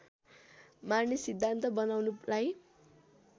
मार्ने सिद्धान्त बनाउनुलाई